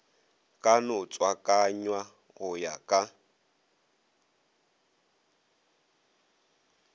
ka no tswakanywa go ya